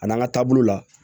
A n'an ka taabolo la